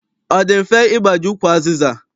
Ọ dị mfe ịgbaji ukwu azịza?